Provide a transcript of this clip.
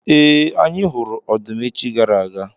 Ee, anyị hụrụ ọdụm echi gara aga.